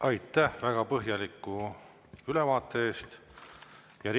Aitäh väga põhjaliku ülevaate eest!